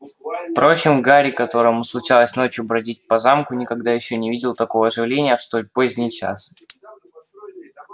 впрочем гарри которому случалось ночью бродить по замку никогда ещё не видел такого оживления в столь поздний час